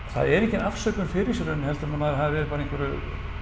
það er engin afsökun fyrir þessu í rauninni heldur en að maður hafi verið bara í einhverju